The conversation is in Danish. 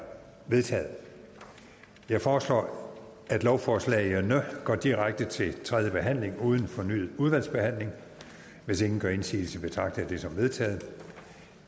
vedtaget jeg foreslår at lovforslagene går direkte til tredje behandling uden fornyet udvalgsbehandling hvis ingen gør indsigelse betragter jeg dette som vedtaget